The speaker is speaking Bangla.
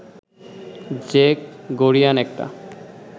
যে গরীয়ান একটা